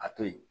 A to yen